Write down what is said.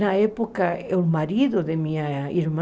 Na época, o marido da minha irmã,